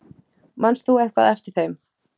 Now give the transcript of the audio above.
Manst þú eitthvað eftir þeim?